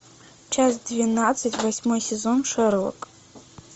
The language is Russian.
часть двенадцать восьмой сезон шерлок